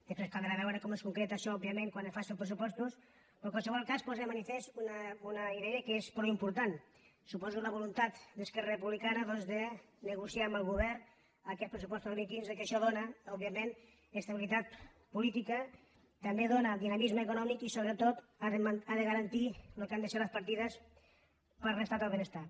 després caldrà veure com es concreta això òbviament quan es facin els pressupostos però en qualsevol cas posa de mani·fest una idea que és prou important suposo que és la voluntat d’esquerra republicana de negociar amb el govern aquests pressupostos del dos mil quinze que això dóna òbviament estabilitat política també dóna dinamisme econòmic i sobretot ha de garantir el que han de ser les partides per a l’estat del benestar